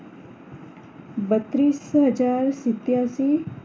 બત્રીસહજાર સત્યાશી